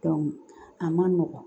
a man nɔgɔn